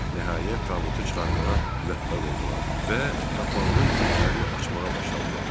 Nəhayət, tabutu çıxarmağa müvəffəq oldular və qapağının vintlərini açmağa başladılar.